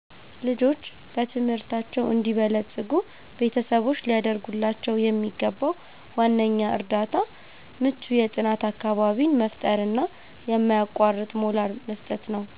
ልጆች በትምህርታቸው እንዲበለጽጉ ቤተሰቦች ሊያደርጉላቸው የሚገባው ዋነኛው እርዳታ ምቹ የጥናት አካባቢን መፍጠርና የማያቋርጥ ሞራል መስጠት ነው።